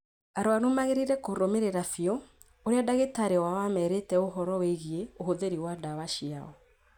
Arũaru magĩrĩirũo kũrũmĩrĩra biũ ũrĩa ndagĩtarĩ wao aamerĩte ũhooro wĩigĩĩ ũhũthĩri wa ndawa ciao.